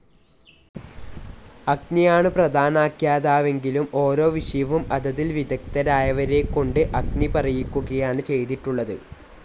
അഗ്നിയാണ് പ്രധാനാഖ്യാതാവെങ്കിലും ഓരോ വിഷയവും അതതിൽ വിദഗ്ദ്ധരായവരെക്കൊണ്ട് അഗ്നി പറയിക്കുകയാണ് ചെയ്തിട്ടുള്ളത്.